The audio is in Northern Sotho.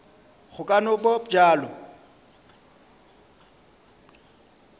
go ka no ba bjalo